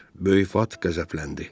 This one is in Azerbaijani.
Böyük vat qəzəbləndi.